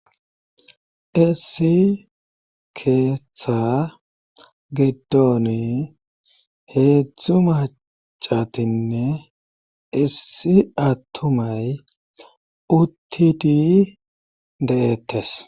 issi keeththa giddoni heedzdzu macatinne issi attumay uttiti de7ettes